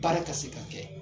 Baara ka se ka kɛ.